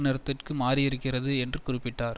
நிறத்திற்கு மாறியிருக்கிறது என்று குறிப்பிட்டார்